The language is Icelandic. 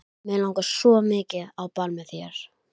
Um þetta leyti var kominn hugur í pabba varðandi fasteignakaup.